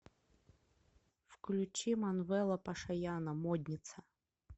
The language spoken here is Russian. включи манвела пашаяна модница